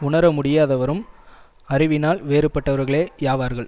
உணர முடியாதவரும் அறிவினால் வேறுபட்டவர்களேயாவார்கள்